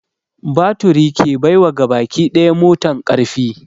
Baturi ke bai wa gabaki daya motan ƙarfi